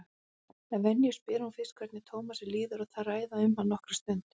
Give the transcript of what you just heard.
Að venju spyr hún fyrst hvernig Tómasi líði og þær ræða um hann nokkra stund.